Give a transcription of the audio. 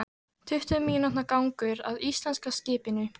Tuttugu mínútna gangur að íslenska skipinu.